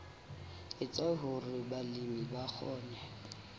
etsa hore balemi ba kgone